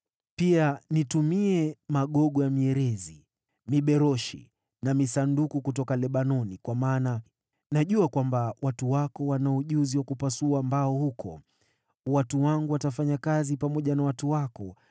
“Pia nitumie magogo ya mierezi, miberoshi na misandali kutoka Lebanoni kwa maana najua kwamba watu wako wanao ujuzi wa kupasua mbao huko. Watu wangu watafanya kazi pamoja na watu wako